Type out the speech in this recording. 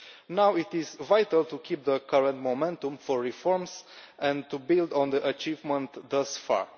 Now it is vital to keep the current momentum for reforms and to build on the achievement thus far.